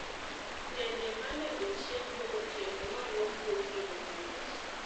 Sende mane ochiemgo gotieno noluok gokinyi mangich.